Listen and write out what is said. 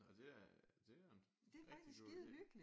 Nå det er det er en rigtig god idé